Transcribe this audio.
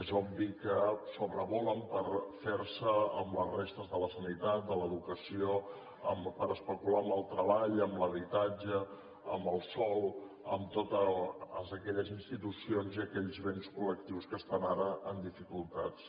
és obvi que sobrevolen per ferse amb les restes de la sanitat de l’educació per especular amb el treball amb l’habitatge amb el sòl amb totes aquelles institucions i aquells béns col·lectius que estan ara amb dificultats